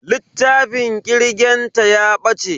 Littafin kirgen ta ya bace.